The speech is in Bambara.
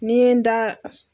Ni ye n da.